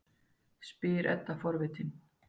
spyr Edda forvitin.